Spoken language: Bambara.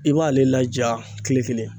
I b'ale laja kile kelen